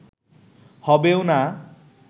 হবেও না